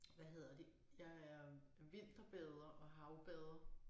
Hvad hedder det jeg er vinterbader og havbader